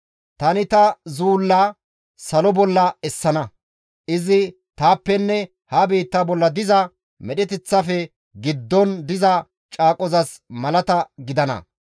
tani ta zuulla salo bolla essana; izi taappenne ha biitta bolla diza medheteththafe giddon diza caaqozas malata gidana.